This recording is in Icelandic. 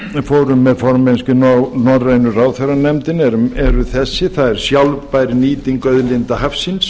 með formennskuna í norrænu ráðherranefndinni eru þessi það er sjálfbær nýting auðlinda hafsins